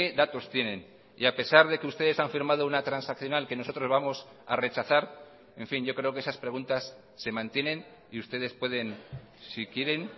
datos tienen y a pesar de que ustedes han firmado una transaccional que nosotros vamos a rechazar en fin yo creo que esas preguntas se mantienen y ustedes pueden si quieren